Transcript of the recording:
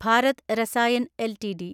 Bharat Rasayan LTD